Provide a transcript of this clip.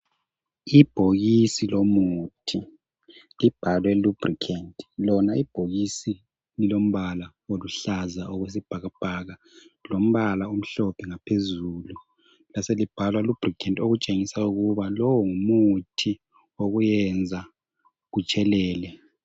Ibhokisi lomuthi libhalwe lubricant. Lona ibhokisi lilombala oluhlaza okwesibhakabhaka lombala omhlophe ngaphezulu laselibhalwa lubricant okutshengisa ukuba lowo ngumuthi wokuyenza kutshelele.